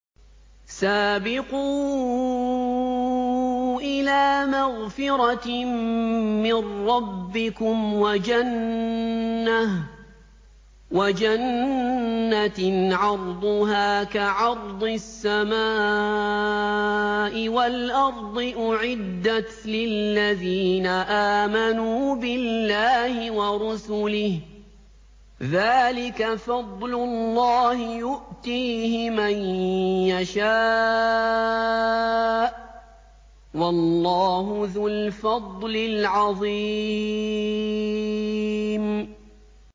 سَابِقُوا إِلَىٰ مَغْفِرَةٍ مِّن رَّبِّكُمْ وَجَنَّةٍ عَرْضُهَا كَعَرْضِ السَّمَاءِ وَالْأَرْضِ أُعِدَّتْ لِلَّذِينَ آمَنُوا بِاللَّهِ وَرُسُلِهِ ۚ ذَٰلِكَ فَضْلُ اللَّهِ يُؤْتِيهِ مَن يَشَاءُ ۚ وَاللَّهُ ذُو الْفَضْلِ الْعَظِيمِ